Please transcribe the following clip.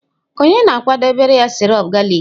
Ònye na-akwadebere ya sirop galik?